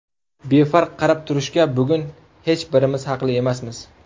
Befarq qarab turishga bugun hech birimiz haqli emasmiz.